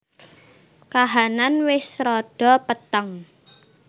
Kahanan wis rada peteng